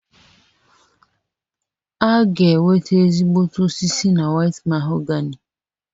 A ga-enweta ezigbote osisi na White mahogany